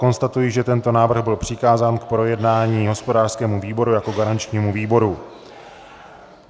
Konstatuji, že tento návrh byl přikázán k projednání hospodářskému výboru jako garančnímu výboru.